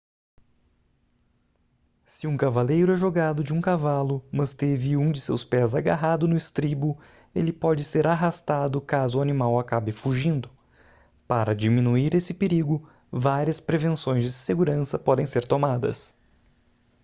se um cavaleiro é jogado de um cavalo mas teve um de seus pés agarrado no estribo ele pode ser arrastado caso o animal acabe fugindo para diminuir esse perigo várias prevenções de segurança podem ser tomadas